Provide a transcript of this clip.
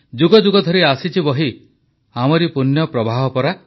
ଯୁଗ ଯୁଗ ଧରି ଆସିଛି ବହି ଆମରି ଏ ପୂଣ୍ୟପ୍ରବାହ ପରା